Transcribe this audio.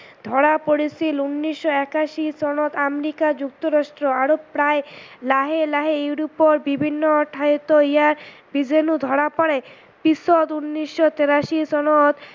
ধৰা পৰিছিল ঊনৈশ একাশী চনত আমেৰিকা যুক্তৰাষ্ট আৰু প্ৰায় লাহে লাহে ইউৰোপৰ বিভিন্ন ঠাইটো ইয়াৰ বিজানু ধৰা পৰে পিছত ঊনৈশ তেৰাশী চনত